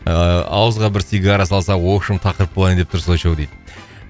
ыыы ауызға бір сигара салса общем тақырып болайын деп тұрсыз очоу дейді